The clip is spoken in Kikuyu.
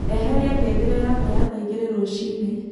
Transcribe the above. eheria ngengere yakwa ya thaa ĩgĩrĩ rũcĩĩnĩ